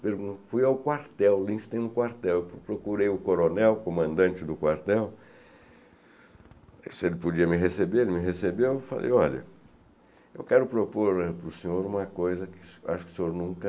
Fui ao quartel, Linz tem um quartel, procurei o coronel, comandante do quartel, se ele podia me receber, ele me recebeu, eu falei, olha, eu quero propor para o senhor uma coisa que acho que o senhor nunca